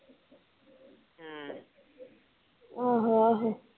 ਆਹੋ ਆਹੋ